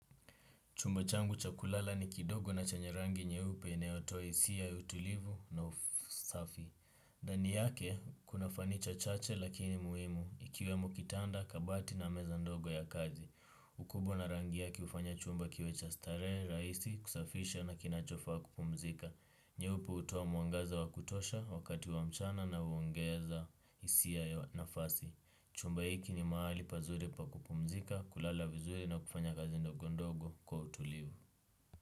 Chumba changu cha kulala ni kidogo na chenye rangi nyeupe, inayotoa isia ya utulivu na usafi. Dani yake, kuna fanicha chache lakini muimu. Ikiwemo kitanda, kabati na meza ndogo ya kazi. Ukubwa na rangi yake ufanya chumba kiwe cha starehe, raisi, kusafisha na kinachofaa kupumzika. Nyeupe utoa mwangaza wa kutosha, wakati wa mchana na uongeza hisia nafasi. Chumba hiki ni maali pazuri pa kupumzika, kulala vizuri na kufanya kazi ndogo ndogo, kwa utulivu.